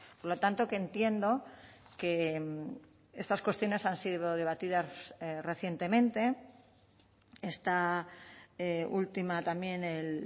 por lo tanto que entiendo que estas cuestiones han sido debatidas recientemente esta última también el